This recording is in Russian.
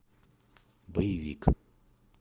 боевик